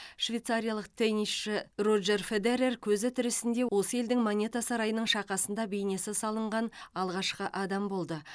швейцариялық теннисші роджер федерер көзі тірісінде осы елдің монета сарайының шақасында бейнесі салынған алғашқы адам болды